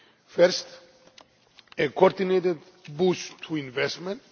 First, a coordinated boost to investment.